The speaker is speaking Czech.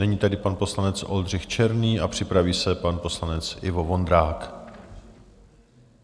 Nyní tedy pan poslanec Oldřich Černý a připraví se pan poslanec Ivo Vondrák.